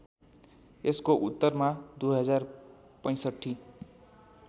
यसको उत्तरमा २०६५